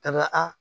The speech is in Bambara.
Ka na a